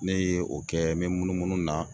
Ne ye o kɛ n bɛ munumunu na